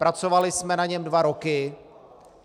Pracovali jsme na něm dva roky.